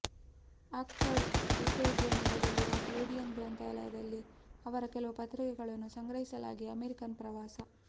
Oxford ವಿಶ್ವವಿದ್ಯಾನಿಲಯದಲ್ಲಿರುವ Bodleian ಗ್ರಂಥಾಲಯದಲ್ಲಿ ಅವರ ಕೆಲವು ಪತ್ರಿಕೆಗಳನ್ನು ಸಂಗ್ರಹಿಸಲಾಗಿ ಅಮೇರಿಕನ್ ಪ್ರವಾಸ